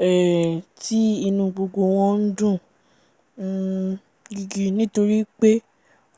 um tí inú u gbogbo wọ́n ńdùn um gigi nítorípé